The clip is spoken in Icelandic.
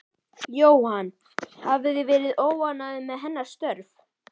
Jóhann: Hafið þið verið óánægð með hennar störf?